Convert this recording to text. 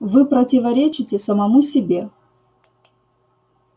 вы противоречите самому себе